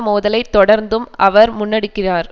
மோதலை தொடர்ந்தும் அவர் முன்னெடுக்கிறார்